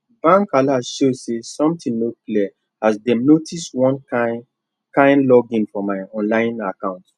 bank alert show say something no clear as dem notice one kin kin login for my online account